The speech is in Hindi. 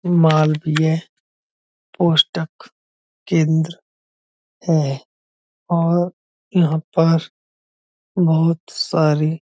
मालवीय पुस्तक केंद्र है और यहॉं पर बहोत सारी --